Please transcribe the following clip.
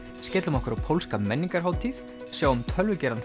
skellum okkur á pólska menningarhátíð sjáum